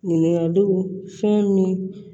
Ɲininkaliw fɛn min